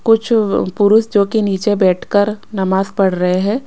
कुछ पुरुषों जो कि नीचे बैठकर नमाज पढ़ रहे हैं।